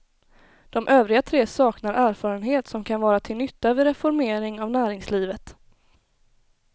De övriga tre saknar erfarenhet som kan vara till nytta vid reformering av näringslivet.